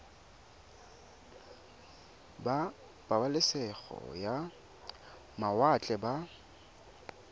ba pabalesego ya mawatle ba